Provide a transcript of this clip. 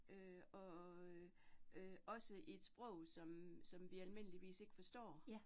Øh og øh øh også i et sprog, som som vi almindeligvis ikke forstår